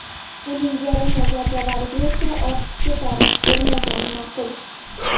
Uning jarima zarbalariga esa ortiqcha tarif bermagan ma’qul.